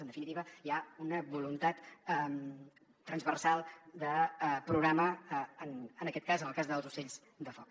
en definitiva hi ha una voluntat transversal de programa en aquest cas en el cas dels ocells de foc